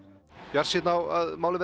bjartsýnn á að málið